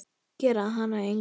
Gera hana að engu.